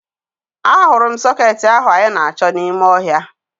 Ahụrụ m sọkeetị ahụ anyị na-achọ n'ime ọhịa